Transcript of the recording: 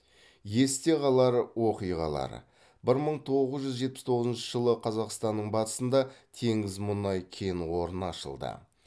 есте қалар оқиғалар бір мың тоғыз жүз жетпіс тоғызыншы жылы қазақстанның батысында теңіз мұнай кен орны ашылды